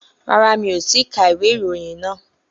Rárá, mi ò tíì ka ìwé ìròyìn náà